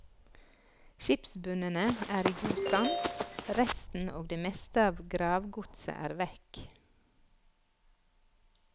Skipsbunnene er i god stand, resten og det meste av gravgodset er vekk.